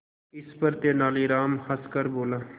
इस पर तेनालीराम हंसकर बोला